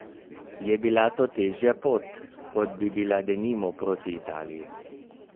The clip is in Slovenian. Je bila to težja pot, kot bi bila denimo proti Italiji?